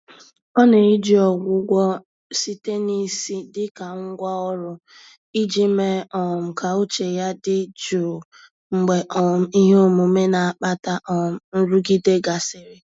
Ọ na-eji Ọgwụgwọ site na isi dịka ngwá ọrụ, iji mee um ka uche ya dị jụụ mgbe um ihe omume na-akpata um nrụgide gasịrị.